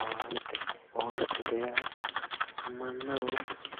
Owaante ,owaante yaa mannaho